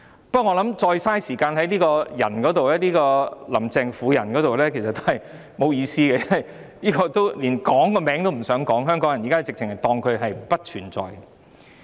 不過，我認為再花時間在"林鄭"這個婦人身上其實沒有意思，因為香港人連她的名字都不想提起，簡直把她當作不存在。